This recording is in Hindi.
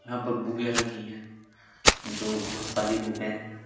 यहाँ पर बुके रखी हैं जो बोहोत सारी बुके हैं।